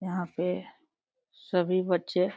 यहाँ पे सभी बच्चे --